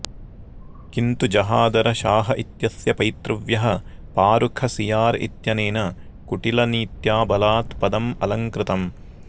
किन्तु जहादर शाह इत्यस्य पैतृव्यः फारुख सियार इत्यनेन कुटिलनीत्या बलात् पदम् अलङ्कृतम्